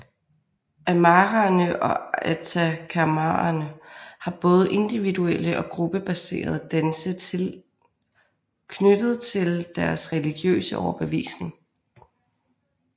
Aymaraerne og atacamaerne har både individuelle og gruppebaserede danse knyttet til deres religiøse overbevisning